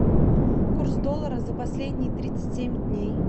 курс доллара за последние тридцать семь дней